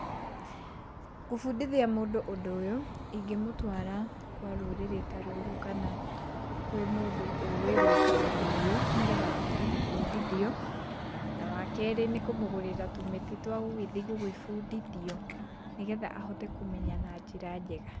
Gũbundithia mũndũ ũndũ ũyũ, ingĩmũtwara kwa rũrĩrĩ ta rũrũ, kana kwĩ mũndũ ũĩ gwĩka ũndũ ũyũ nĩgetha ahote gũbundithio. Wakerĩ nĩ kũmũgũrĩra tũmĩtĩ twa gũgĩthiĩ gũgĩbundithio nĩgetha ahote kũmenya na njĩra njega.